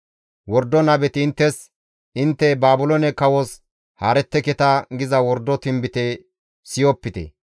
Wordo nabeti inttes, ‹Intte Baabiloone kawos haaretteketa› giza wordo tinbite siyopite.